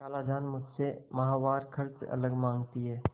खालाजान मुझसे माहवार खर्च अलग माँगती हैं